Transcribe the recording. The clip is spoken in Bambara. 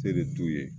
Tere t'u ye